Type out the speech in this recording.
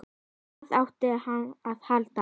Hvað átti hann að halda?